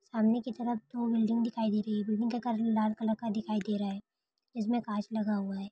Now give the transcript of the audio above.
सामने की तरफ दो बिल्डिंग दिखाई दे रही है बिल्डिंग कलर लाल कलर का दिखाई दे रहा है जिस में कच लगा हुआ है।